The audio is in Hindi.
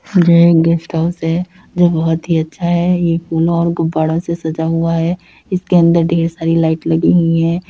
जे एक गेस्ट हाउस है। जो बहोत ही अच्छा है। ये फूल और गुब्बारा से सजा हुआ है इसके अंदर ढेर सारी लाइट लगी हुई हैं।